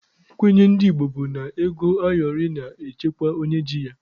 Nkwenye ndị Igbo bụkwa na ego ayọrị na-echekwa onye ji ya.